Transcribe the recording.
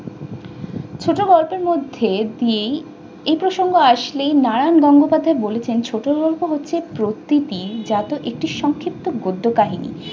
ছোটগল্পের মধ্যে এই প্রসঙ্গ আসলেই নারায়ণ গঙ্গোপাধ্যায় বলেছেন ছোট গল্প হচ্ছে প্রকৃতি জাত একটি সংক্ষিপ্ত গদ্য কাহিনী।